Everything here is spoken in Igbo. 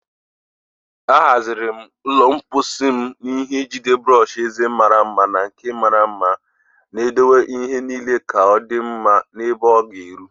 Ahaziri m ụlọ mposi m n'ihe njide brọsh eze mara mma na nke mara mma, na-edowe ihe niile ka ọ dị mma na ebe ọ ga-eru.